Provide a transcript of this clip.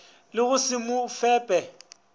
le go se mo fepe